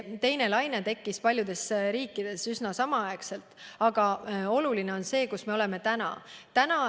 Teine laine tekkis paljudes riikides üsna samaaegselt, aga oluline on see, kus me oleme täna.